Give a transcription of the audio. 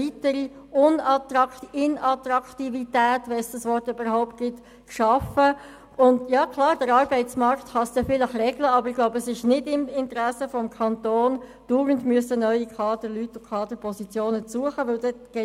Wir waren der Ansicht, dass Arbeitnehmer nicht nur Pflichten brauchten, sondern Aufgaben, Kompetenzen und Verantwortung.